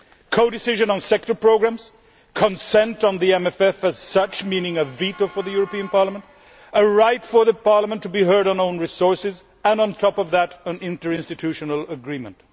Codecision on sector programmes, consent on the MFF as such meaning a veto for the European Parliament a right for Parliament to be heard on own resources, and on top of that an interinstitutional agreement.